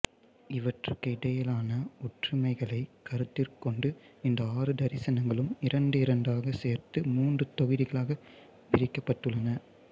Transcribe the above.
இவற்றுக்கு இடையிலான ஒற்றுமைகளைக் கருத்திற்கொண்டு இந்த ஆறு தரிசனங்களும் இரண்டிரண்டாகச் சேர்த்து மூன்று தொகுதிகளாகப் பிரிக்கப்பட்டுள்ளன